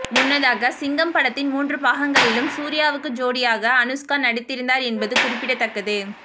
முன்னதாக சிங்கம் படத்தின் மூன்று பாகங்களிலும் சூர்யாவுக்கு ஜோடியாக அனுஷ்கா நடித்திருந்தார் என்பது குறிப்பிடத்தக்கது